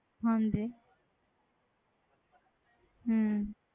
ਹਾਂਜੀ ਹਮ